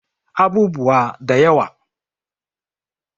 Abubuwa da yawa